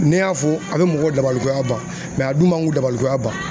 Ne y'a fɔ a bɛ mɔgɔw dabalikonya ban a dun man k'u dabalikoyan ban.